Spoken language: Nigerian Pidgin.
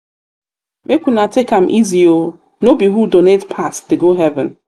make una take am easy oo no be who donate pass dey go heaven.